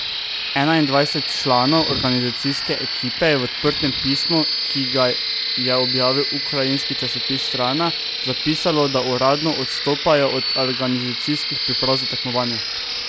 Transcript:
Enaindvajset članov organizacijske ekipe je v odprtem pismu, ki ga je objavil ukrajinski časopis Strana, zapisalo, da uradno odstopajo od organizacijskih priprav za tekmovanje.